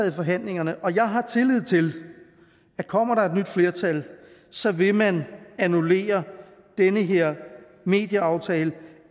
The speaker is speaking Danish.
i forhandlingerne og jeg har tillid til at kommer der er nyt flertal så vil man annullere den her medieaftale og